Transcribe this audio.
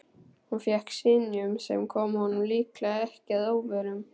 Hann fékk synjun, sem kom honum líklega ekki að óvörum.